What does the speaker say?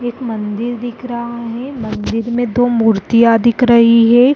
एक मंदिर दिख रहा है मंदिर में दो मूर्तियां दिख रही है।